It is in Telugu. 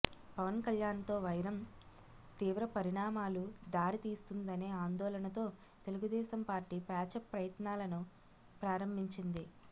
పవన్ కళ్యాణ్తో వైరం తీవ్ర పరిణామాలు దారి తీస్తుందనే ఆందోళనతో తెలుగుదేశం పార్టీ ప్యాచప్ ప్రయత్నాలను ప్రారంభించింది